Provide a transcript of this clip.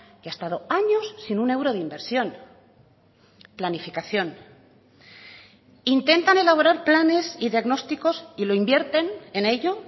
que ha estado años sin un euro de inversión planificación intentan elaborar planes y diagnósticos y lo invierten en ello